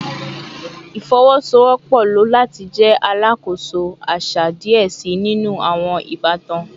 Ifowosowopo lo lati jẹ alakoso aṣa diẹ sii ninu awọn ibatan